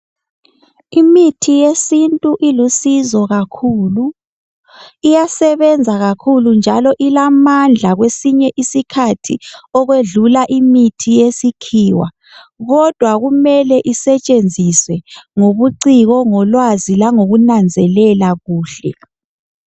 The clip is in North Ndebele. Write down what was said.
Imithi yesintu ilusizo kakhulu iyasebenza kakhulu njalo ilamandla kwesinye isikhathi ukwedlula imithi yesikhiwa. Kodwa kumele isetshenziswe ngobuciko ngolwazi langokunanzelela kuhle.